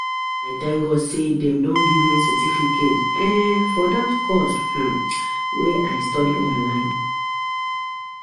I thank God say dey don give me certificate um for dat course um wey I study online